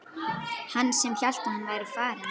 Hann sem hélt að hann væri farinn!